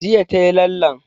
Jiya ta yi lallen